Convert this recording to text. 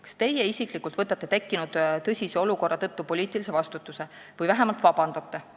Kas teie isiklikult võtate tekkinud tõsise olukorra tõttu poliitilise vastutuse või vähemalt vabandate?